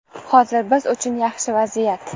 Hozir biz uchun yaxshi vaziyat.